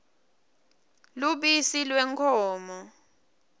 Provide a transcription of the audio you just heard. lubisi lwenkhomo